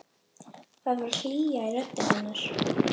Það var hlýja í rödd hennar.